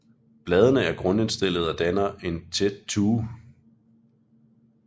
Bladene er grundstillede og danner en tæt tue